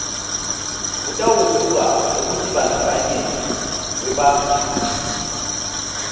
kutawubuka ekutibandzakanyeni kwebakhiciti